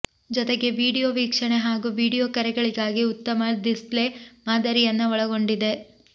ಜೊತೆಗೆ ವಿಡಿಯೋ ವೀಕ್ಷಣೆ ಹಾಗೂ ವಿಡಿಯೋ ಕರೆಗಳಿಗಾಗಿ ಉತ್ತಮ ಡಿಸ್ಪ್ಲೇ ಮಾದರಿಯನ್ನ ಒಳಗೊಂಡಿದೆ